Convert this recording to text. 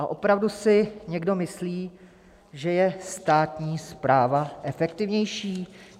A opravdu si někdo myslí, že je státní správa efektivnější?